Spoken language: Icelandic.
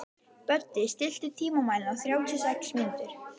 Böddi, stilltu tímamælinn á þrjátíu og sex mínútur.